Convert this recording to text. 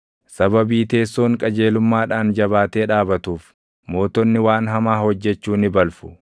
Sababii teessoon qajeelummaadhaan jabaatee dhaabatuuf mootonni waan hamaa hojjechuu ni balfu.